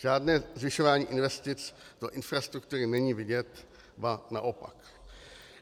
Žádné zvyšování investic do infrastruktury není vidět, ba naopak.